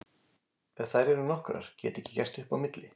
Þær eru nokkrar, get ekki gert upp á milli.